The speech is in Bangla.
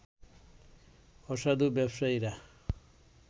অসাধু ব্যবসায়ীরা